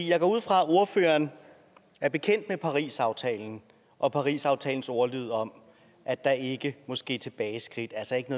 jeg går ud fra at ordføreren er bekendt med parisaftalen og parisaftalens ordlyd om at der ikke må ske tilbageskridt altså ikke